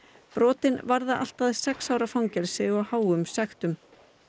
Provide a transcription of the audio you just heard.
brotin varða allt að sex ára fangelsi og háum sektum